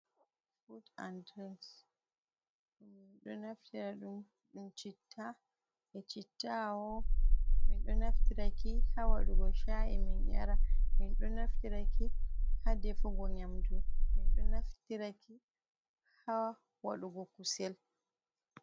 Food an drinks minɗo naftira ɗum, ɗum citta e chitta aho min ɗo naftiraki ha waɗugo cha’i min yara, min ɗo naftiraki ha defugo nyamdu, min ɗo naftiraki ha waɗugo kusel.